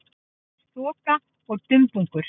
Aðeins þoka og dumbungur.